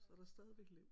Så er der stadigvæk liv